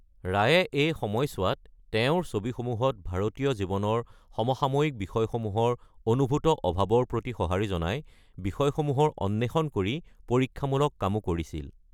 ৰায়ে এই সময়ছোৱাত, তেওঁৰ ছবিসমূহত ভাৰতীয় জীৱনৰ সমসাময়িক বিষয়সমূহৰ অনুভূত অভাৱৰ প্ৰতি সঁহাৰি জনাই বিষয়সমূহৰ অন্বেষণ কৰি পৰীক্ষামূলক কামো কৰিছিল।